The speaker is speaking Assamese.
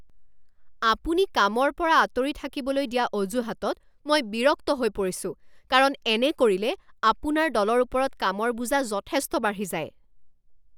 আপুনি কামৰ পৰা আঁতৰি থাকিবলৈ দিয়া অজুহাতত মই বিৰক্ত হৈ পৰিছোঁ কাৰণ এনে কৰিলে আপোনাৰ দলৰ ওপৰত কামৰ বোজা যথেষ্ট বাঢ়ি যায়।